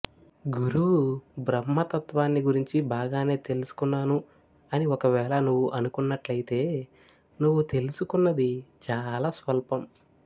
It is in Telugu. గురువు బ్రహ్మ తత్వాన్ని గురించి బాగానే తెలుసుకున్నాను అని ఒకవేళ నువ్వు అనుకున్నట్లయితే నువ్వు తెలుసుకున్నది చాలా స్వల్పం